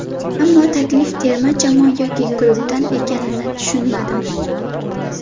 Ammo taklif terma jamoa yoki klubdan ekanini tushunmadim.